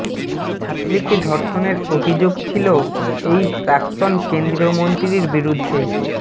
ছাত্রীকে ধর্ষণের অভিযোগ ছিল এই প্রাক্তন কেন্দ্রীয় মন্ত্রীর বিরুদ্ধে